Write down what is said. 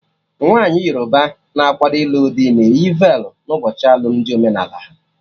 Nwaanyi Yoruba na-akwado ilu dị na eyi velu n'ụbọchị alụmdi omenala ha